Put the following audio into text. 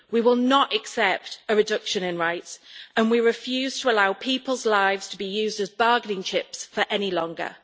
We will not accept a reduction in rights and we refuse to allow people's lives to be used as bargaining chips for any longer.